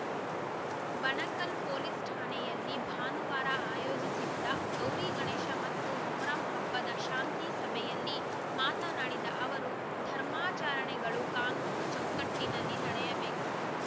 Banakal police ಠಾಣೆಯಲ್ಲಿ ಭಾನುವಾರ ಆಯೋಜಿಸಿದ್ದ ಗೌರಿಗಣೇಶ ಮತ್ತು ಮೊಹರಂ ಹಬ್ಬದ ಶಾಂತಿ ಸಭೆಯಲ್ಲಿ ಮಾತನಾಡಿದ ಅವರು ಧರ್ಮಾಚರಣೆಗಳು ಕಾನೂನು ಚೌಕಟ್ಟಿನಲ್ಲಿ ನಡೆಯಬೇಕು